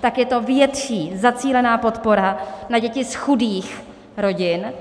tak je to větší zacílená podpora na děti z chudých rodin.